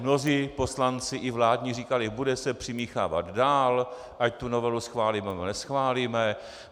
Mnozí poslanci, i vládní, říkali: bude se přimíchávat dál, ať tu novelu schválíme, nebo neschválíme.